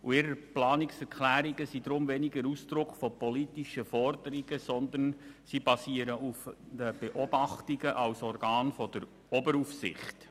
Ihre Planungserklärungen sind deshalb weniger Ausdruck von politischen Forderungen als Schlussfolgerungen aufgrund von Beobachtungen durch das Organ der Oberaufsicht.